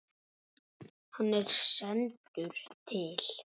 Hann er sendur til